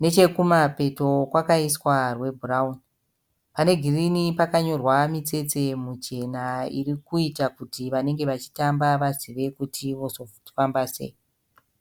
nechekumapepo kwakaiswa rwebhurawuni. Panegirini pakanyorwa mitsetse muchena irikuita kuti vanenga vachitamba vazive kuti vaite sei.